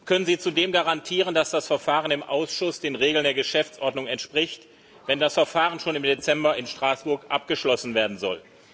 Können Sie zudem garantieren, dass das Verfahren im Ausschuss den Regeln der Geschäftsordnung entspricht, wenn das Verfahren schon im Dezember in Straßburg abgeschlossen werden soll?